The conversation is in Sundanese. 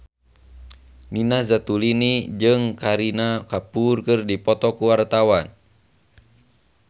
Nina Zatulini jeung Kareena Kapoor keur dipoto ku wartawan